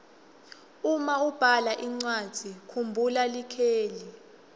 uma ubhala incwadzi kumbhula likheli